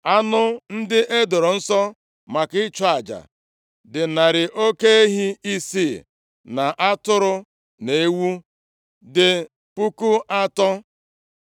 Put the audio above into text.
Anụ ndị e doro nsọ maka ịchụ aja dị narị oke ehi isii na atụrụ na ewu dị puku atọ.